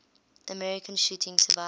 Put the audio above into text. american shooting survivors